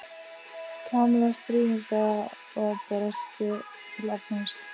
Kamilla stríðnislega og brosti til Arnars.